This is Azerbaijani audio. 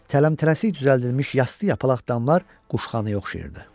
Tələmtələsik düzəldilmiş yastı-yapalaq damlar quşxanaya oxşayırdı.